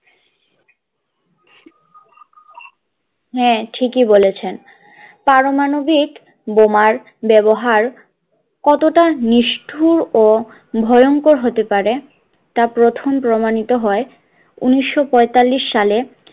হাঁ ঠিক ই বলেছেন পারমাণবিক বোমার ব্যাবহার কতটা নিষ্ঠূর ও ভয়ংকর হতে পারে তা প্রথম প্রমাণিত হয় উনিশশো পয়তাল্লিশ সালে